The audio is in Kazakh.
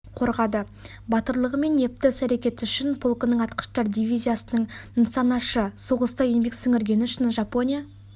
қорғады батырлығы мен епті іс-әрекеті үшін полкының атқыштар дивизиясының нысанашы соғыста еңбек сіңіргені үшін жапония